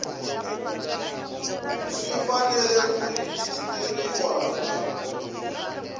swi fanele ku rejistariwa na